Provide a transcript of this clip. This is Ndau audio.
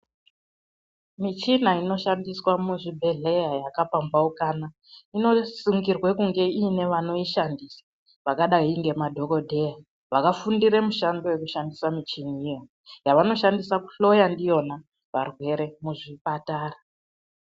Michina inoshandiswa muzvibhedhlera yakapambaukana inosungirwe kunge iyine vanoishandisa vakadayi ngemadhokodheya vakafundira mushando yekushandisa michiniyo yavanoshandisa kuhloya ndiyona varwere muzvipatara.